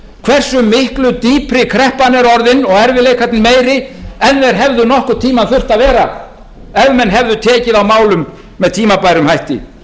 hversu miklu dýpri kreppan er orðin og erfiðleikarnir meiri ef þeir hefðu nokkurn tíma þurft að vera ef menn hefði tekið á málum með öðrum hætti